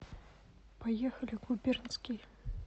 поехали губернский